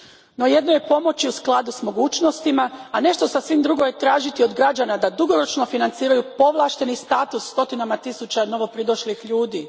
No, jedno je pomoći u skladu s mogućnostima, a nešto sasvim drugo je tražiti od građana da dugoročno financiraju povlašteni status stotinama tisuća novopridošlih ljudi.